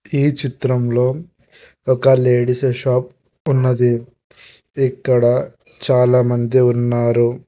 ఈ చిత్రంలో ఒక లేడీసెస్ షాప్ ఉన్నది ఇక్కడ చాలామంది ఉన్నారు.